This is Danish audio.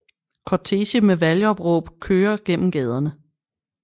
Kortege med valgopråb kører gennem gaderne